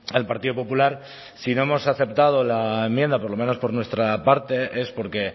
al partido popular si no hemos aceptado la enmienda por lo menos por nuestra parte es porque